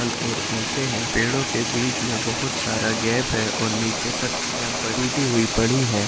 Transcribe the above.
फल और ऊंचे हैं पेड़ों के बीच में बोहोत सारा गैप है और नीचे पत्तियों टूटी हुई पड़ी हैं।